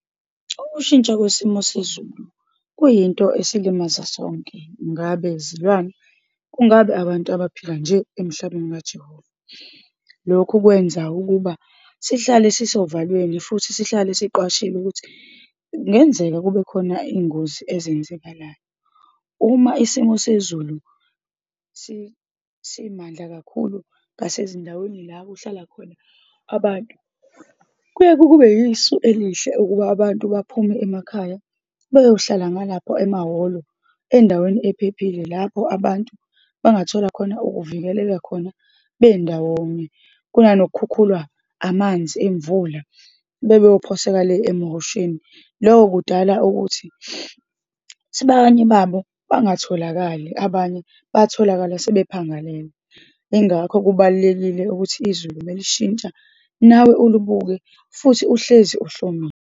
Ukushintsha kwesimo sezulu kuyinto esilimaza sonke, ngabe zilwane, kungabe abantu abaphila nje emhlabeni kaJehovah. Lokhu kwenza ukuba sihlale sisovalweni, futhi sihlale siqwashile ukuthi kungenzeka kubekhona iy'ngozi ezenzekalayo. Uma isimo sezulu simandla kakhulu ngasezindaweni la kuhlala khona abantu, kuye-ke kube yisu elile ukuba abantu baphume emakhaya beyohlala ngalapho emahholo, endaweni ephephile lapho abantu bangathola khona ukuvikeleka khona bendawonye, kunanokukhukhulwa amanzi emvula, bebe beyophoseka le emihosheni. Loko kudala ukuthi sebanye babo bangatholakali, abanye batholakala sebephangalele. Yingakho kubalulekile ukuthi izulu uma lishintsha nawe ulibuke, futhi uhlezi uhlomile.